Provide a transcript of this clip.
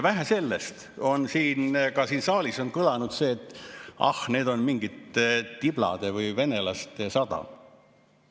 Vähe sellest, ka siin saalis on kõlanud, et ah, mingi tiblade või venelaste sadam.